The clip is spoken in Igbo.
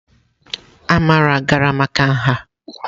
Amara gara maka nha?